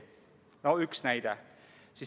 No see oli üks näide.